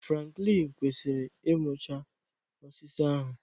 Franklin kwesịrị ịmụchaa osisi ahụ